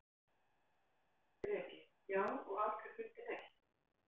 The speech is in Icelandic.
Breki: Já, og aldrei fundið neitt?